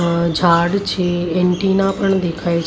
આ ઝાડ છે એન્ટિના પણ દેખાય છે.